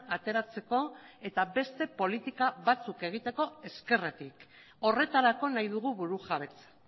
ateratzeko eta beste politika batzuk egiteko ezkerretik horretarako nahi dugu burujabetza